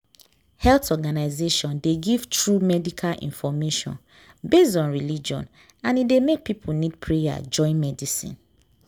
health organization dey give true medical info based on religion and e dey make people need prayer join medicine.